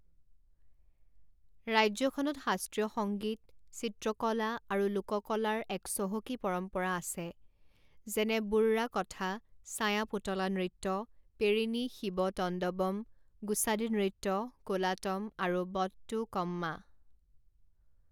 ৰাজ্যখনত শাস্ত্ৰীয় সংগীত, চিত্ৰকলা, আৰু লোককলাৰ এক চহকী পৰম্পৰা আছে, যেনে বুৰ্ৰা কথা, ছাঁয়া পুতলা নৃত্য, পেৰিণী শিৱতণ্ডৱম, গুছাদি নৃত্য, কোলাতম, আৰু বটটুকম্মা।